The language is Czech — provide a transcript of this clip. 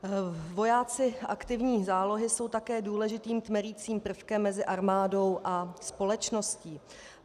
Vojáci aktivní zálohy jsou také důležitým tmelicím prvkem mezi armádou a společností.